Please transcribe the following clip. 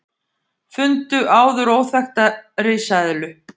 Fundu áður óþekkta risaeðlu